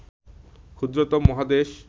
ক্ষুদ্রতম মহাদেশ